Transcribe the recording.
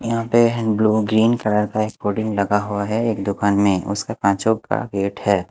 यहां पे blue green colour का बोर्डिंग लगा हुआ है एक दुकान में उसके पांचो का गेट है।